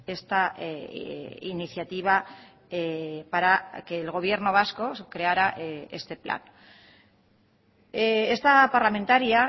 esta iniciativa para que el gobierno vasco creara este plan esta parlamentaria